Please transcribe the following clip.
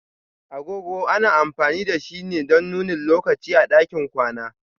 Agogo ana amfani da shi ne don nuni lokaci a ɗakin kwana.